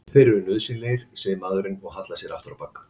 Þeir eru nauðsynlegir, segir maðurinn og hallar sér aftur á bak.